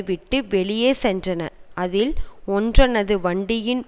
விட்டு வெளியே சென்றன அதில் ஒன்றினது வண்டியின்